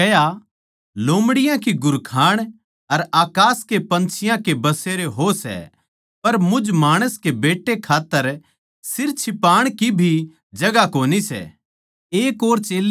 यीशु नै उसतै कह्या लोमड़ियां की घुरखाण अर अकास के पन्छियाँ के बसेरे हो सै पर मुझ माणस के बेट्टै खात्तर सिर छिपाण की भी जगहां कोनी सै